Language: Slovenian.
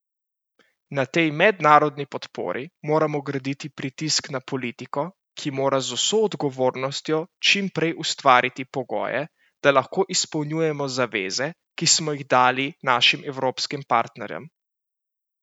Na tej mednarodni podpori moramo graditi pritisk na politiko, ki mora z vso odgovornostjo čimprej ustvariti pogoje, da lahko izpolnjujemo zaveze, ki smo jih dali našim evropskim partnerjem!